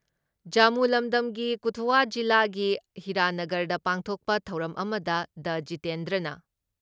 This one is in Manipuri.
ꯖꯃꯨ ꯂꯝꯗꯝꯒꯤ ꯀꯊꯨꯋꯥ ꯖꯤꯂꯥꯒꯤ ꯍꯤꯔꯥꯅꯥꯒꯔꯗ ꯄꯥꯡꯊꯣꯛꯄ ꯊꯧꯔꯝ ꯑꯃꯗ ꯗꯥ ꯖꯤꯇꯦꯟꯗ꯭ꯔꯅ